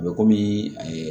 A bɛ kɔmi